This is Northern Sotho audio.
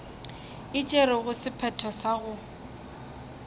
e tšerego sephetho sa go